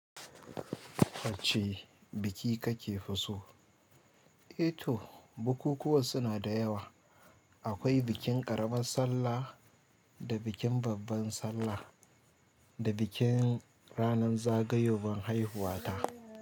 Wacce biki ka ke fi so? Eh to bukukuwan suna da yawa. Akwai bikin ƙaraman sallah da bikin babban sallah da bikin ranan zagayowan haihuwata.